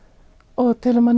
og til að maður